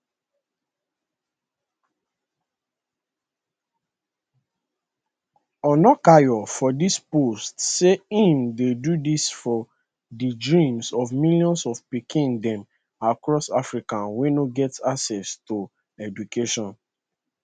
onakoya for di post say im dey do dis for di dreams of millions of pikin dem across africa wey no get access to education